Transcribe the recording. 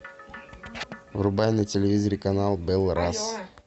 врубай на телевизоре канал белрос